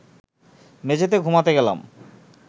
মেঝেতে ঘুমাতে গেলাম